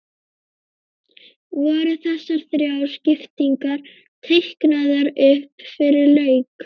Voru þessar þrjár skiptingar teiknaðar upp fyrir leik?